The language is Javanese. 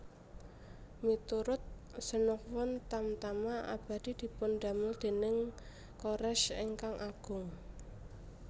Miturut Xenophon Tamtama Abadi dipundamel déning Koresh ingkang Agung